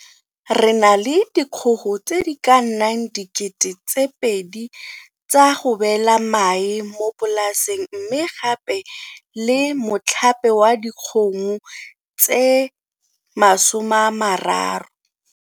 Re na le dikgogo tse di ka nnang 2 000 tsa go beela mae mo polaseng mme gape le motlhape wa dikgomo tse 30.